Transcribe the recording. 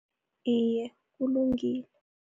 Iye, kulungile.